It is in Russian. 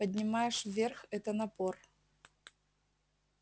поднимаешь вверх это напор